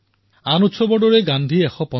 এইদৰে অৱকাশ আহিয়েই থাকে আমিও জড়িত হৈ থাকো